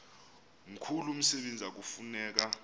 mkhulu umsebenzi ekufuneka